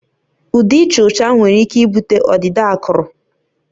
Ude ịcha ọcha nwere ike ibute ọdịda akụrụ